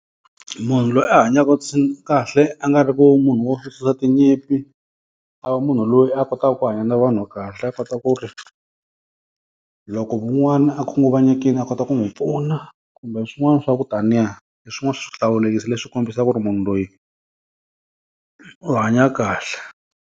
Munhu loyi a hanyaka kahle a nga ri ku munhu wo tinyimpi. A va munhu loyi a kotaka ku hanya na vanhu wa kahle a kota ku ri, loko un'wana a khunguvanyekile a kota ku n'wi pfuna, kumbe swin'wana swa ku taniya, hi swin'wani swa swihlawulekisi leswi kombisaka ku ri munhu loyi u hanya kahle.